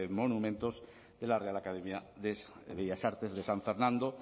monumentos de la real academia de bellas artes de san fernando